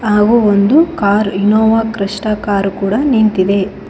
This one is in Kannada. ಹಾಗು ಒಂದು ಕಾರ್ ಇನ್ನೋವಾ ಕ್ರಿಸ್ಟ ಕಾರ್ ಕೂಡ ನಿಂತಿದೆ.